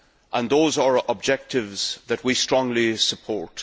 and those are objectives that we strongly support.